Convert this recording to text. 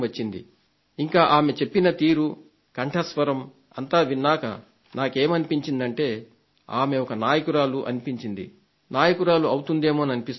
ఇంకా ఆమె చెప్పిన తీరు కంఠస్వరం అంతా విన్నాక నాకేమనిపించిందంటే ఆమె ఒక నాయకురాలు అనిపించింది నాయకురాలు అవుతుందేమోననిపిస్తోంది